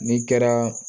N'i kɛra